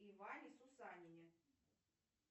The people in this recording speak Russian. иване сусанине